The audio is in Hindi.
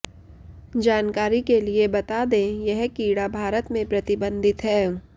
जानकारी के लिए बता दें यह कीड़ा भारत में प्रतिबंधित है